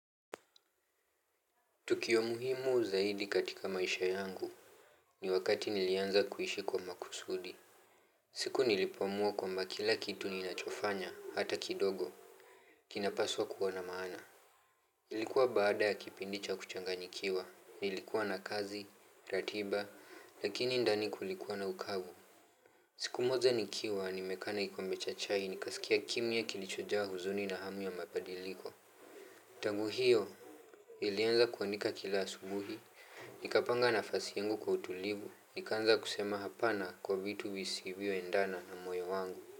Tukio muhimu zaidi katika maisha yangu. Ni wakati nilianza kuishi kwa makusudi. Siku nilipoamua kwamba kila kitu ninachofanya, hata kidogo. Kinapaswa kuwa na maana. Ilikuwa baada ya kipindi cha kuchanganyikiwa. Nilikuwa na kazi, ratiba, lakini ndani kulikuwa na ukavu. Siku moja nikiwa, nimekaa na kikombe cha chai, nikasikia kimya kilichojaa huzuni na hamu ya mabadiliko. Tangu hio. Ilianza kuandika kila asubuhi. Nikapanga nafasi yangu kwa utulivu, nikaanza kusema hapana kwa vitu visivyo endana na moyo wangu.